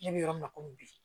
Ne bɛ yɔrɔ min na komi bi